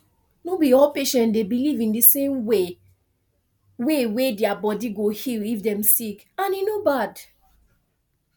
no be all patient dey believe in di same way way wey dia body go heal if dem sick and e no bad